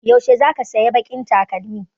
Yaushe zaka saya baƙin takalmin?